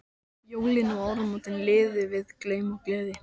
Jólin og áramótin liðu við glaum og gleði.